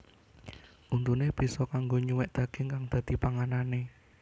Untuné bisa kanggo nyuwèk daging kang dadi panganané